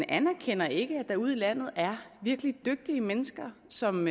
anerkender ikke at der ude i landet er virkelig dygtige mennesker som